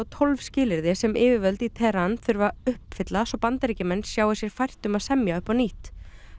tólf skilyrði sem yfirvöld í Teheran þurfi að uppfylla svo Bandaríkjamenn sjái sér fært að semja upp á nýtt